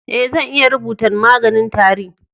Eh, zan iya rubutan maganin tari.